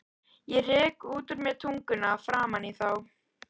Ég rek út úr mér tunguna framan í þá.